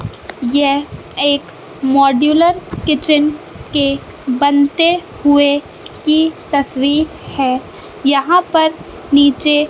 यह एक modular kitchen के बनते हुए की तस्वीर है यहां पर नीचे--